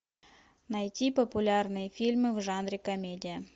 найти популярные фильмы в жанре комедия